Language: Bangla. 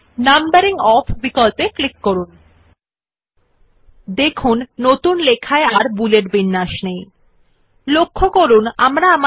আপনি দেখতে যে বুলেট শৈলী নেই নতুন টেক্সট যা টাইপ করতে হবে জন্য উপলব্ধ you see that the bullet style is no longer available for the new text which you will type